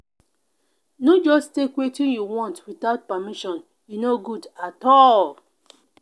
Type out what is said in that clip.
no just take wetin you want without permission; e no good at all.